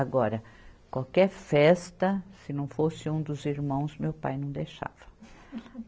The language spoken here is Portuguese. Agora, qualquer festa, se não fosse um dos irmãos, meu pai não deixava.